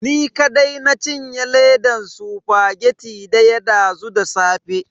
Ni kadai na cinye ledan spaghetti daya dazu da safe.